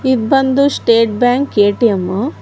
ಇದ್ ಬಂದು state bank ATM .